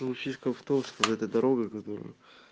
ну фишка в том чтобы эта дорога которую